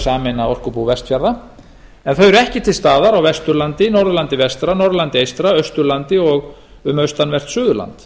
sameina orkubú vestfjarða en þau eru ekki til staðar á vesturlandi norðurlandi vestra norðurlandi eystra austurlandi og um austanvert suðurland